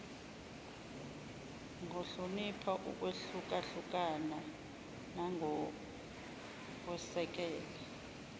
ngohlonipha ukwehlukahlukana nangokwesekela